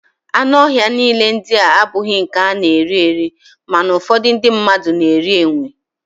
Anụ ọhịa niile ndịa abụghị nke a na-eri eri, mana ụfọdụ ndị mmadụ na-eri enwe